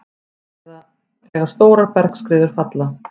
eða þegar stórar bergskriður falla.